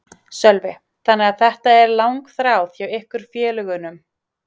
Sölvi: Þannig að þetta er langþráð hjá ykkur félögunum?